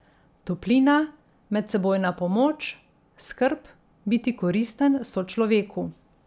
Toplina, medsebojna pomoč, skrb, biti koristen sočloveku ...